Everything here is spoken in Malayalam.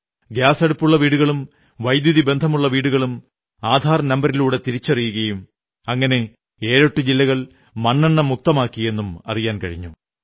ഗ്യാസടുപ്പുള്ള വീടുകളും വൈദ്യുതിബന്ധമുള്ള വീടുകളും ആധാർ നമ്പരിലൂടെ തിരിച്ചറിയുകയും അങ്ങനെ ഏഴെട്ടു ജില്ലകൾ മണ്ണണ്ണ മുക്തമാക്കിയെന്നും അറിയാൻ കഴിഞ്ഞു